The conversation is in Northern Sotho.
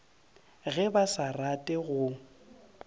ge ba sa rate go